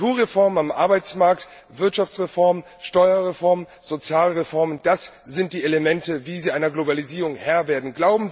Strukturreformen am Arbeitsmarkt, Wirtschaftsreform, Steuerreform, Sozialreform das sind die Elemente, mit denen Sie einer Globalisierung Herr werden.